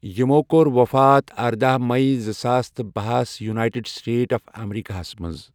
یمو کوٚر وفات ارداہ مٔی زٕساس تہٕ بہس یوٗنایٹڈ سٹیٹ آف امریٖکا ہس منٛز۔